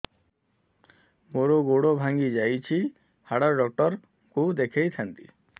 ମୋର ଗୋଡ ଭାଙ୍ଗି ଯାଇଛି ହାଡ ଡକ୍ଟର ଙ୍କୁ ଦେଖେଇ ଥାନ୍ତି